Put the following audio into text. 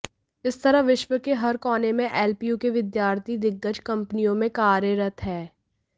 इस तरह विश्व के हर कोने में एलपीयू के विद्यार्थी दिग्गज कंपनियों में कार्यरत हैं